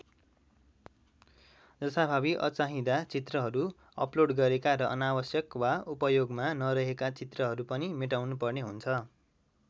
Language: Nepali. जथाभावी अचाहिँदा चित्रहरू अपलोड गरेका र अनावश्यक वा उपयोगमा नरहेका चित्रहरू पनि मेटाउनुपर्ने हुन्छ।